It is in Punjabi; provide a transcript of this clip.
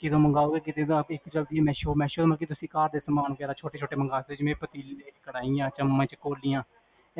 ਕਿਦੋ ਮਨ੍ਗਾਓਗੇ, ਮੀਸੋ, ਮੀਸੋ ਤੇ ਤੁਸੀਂ ਘਰਦੇ ਸਮਾਨ ਵਗੇਰਾ, ਛੋੱਟੇ ਛੋਟੇ ਮੰਗਾ ਸਕਦੇ ਹੋ ਜਿਵੇ ਪਤੀਲੇ, ਕੜਾਹੀਆਂ, ਚਮਚ ਕੋਲਿਆਂ